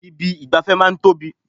Ibi ìgbafẹ́ máa ń tóbi.